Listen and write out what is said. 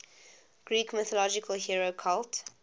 greek mythological hero cult